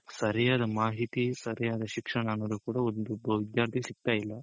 ಸರಿಯಾದ ಮಾಹಿತಿ ಸರಿಯಾದ ಶಿಕ್ಷಣ ಅನ್ನೋದು ಕೂಡ ಒಬ್ಬ ವಿದ್ಯಾರ್ಥಿಗ್ ಸಿಗ್ತಾ ಇಲ್ಲ .